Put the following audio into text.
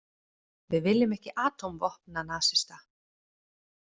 Við viljum ekki atómvopnanasista.